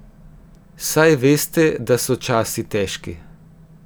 Saj veste, da so časi težki.